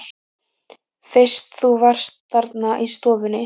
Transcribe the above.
Fyrst þú varst þarna í stofunni.